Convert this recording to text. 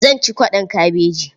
Zan ci kwaɗon kabeji.